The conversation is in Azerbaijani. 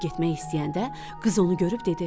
Çıxıb getmək istəyəndə qız onu görüb dedi: